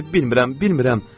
bilmirəm, bilmirəm.